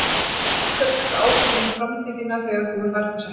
Af hverju að taka ákvörðun um framtíð þína þegar að þú þarft þess ekki?